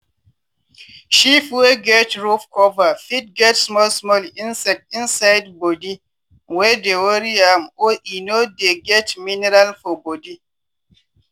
sheep wey get rought cover fit get small small insect inside body wey dey worry am or e no dey get miniral for body.